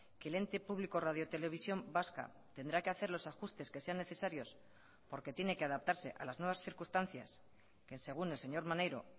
que el ente público radiotelevisión vasca tendrá que hacer los ajustes que sean necesarios porque tiene que adaptarse a las nuevas circunstancias que según el señor maneiro